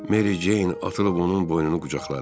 Meri Ceyn atılıb onun boynunu qucaqladı.